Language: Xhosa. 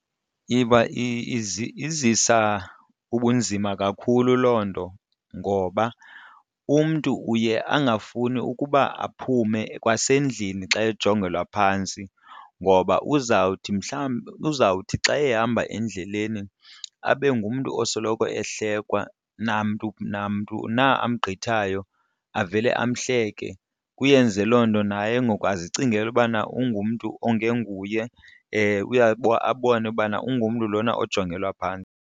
izisa ubunzima kakhulu loo nto ngoba umntu uye angafuni ukuba aphume kwasendlini xa ejongelwa phantsi ngoba uzawuthi mhlawumbi, uzawuthi xa ehamba endleleni abe ngumntu osoloko ehlekwa namntu namntu na amgqithayo avele amhleke. Kuyenze loo nto naye ngoku azicingele ubana ungumntu ongenguye abone uba ungumntu lona ojongelwa phantsi.